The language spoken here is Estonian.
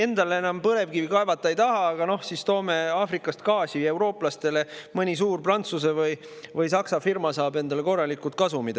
Endale enam põlevkivi kaevata ei taha, aga toome Aafrikast gaasi eurooplastele, siis mõni suur Prantsuse või Saksa firma saab endale korralikud kasumid.